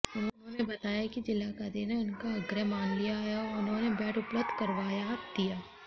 उन्होंने बताया कि ज़िलाधिकारी ने उनका आग्रह मान लिया और उन्हें बेड उपलब्ध करवा दिया